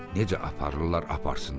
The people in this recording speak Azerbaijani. Necə aparırlar aparsınlar.